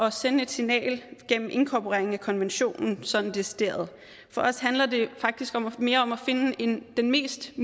at sende et signal gennem inkorporering af konventionen sådan decideret for os handler det faktisk mere om at finde den mest